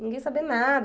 Ninguém saber nada.